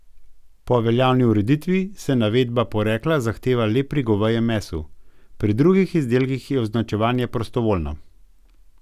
Po veljavni ureditvi se navedba porekla zahteva le pri govejem mesu, pri drugih izdelkih je označevanje prostovoljno.